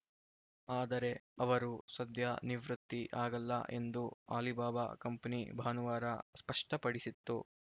ಆದರೆ ಅವರು ಸದ್ಯ ನಿವೃತ್ತಿ ಆಗಲ್ಲ ಎಂದು ಆಲಿಬಾಬಾ ಕಂಪನಿ ಭಾನುವಾರ ಸ್ಪಷ್ಟಪಡಿಸಿತ್ತು